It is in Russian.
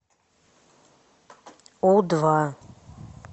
у два